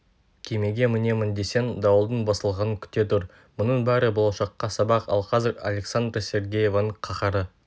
кемеге мінемін десең дауылдың басылғанын күте тұр мұның бәрі болашаққа сабақ ал қазір александра сергеевнаның қаһары